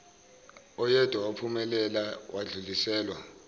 oyedwa waphumelela wadluliselwa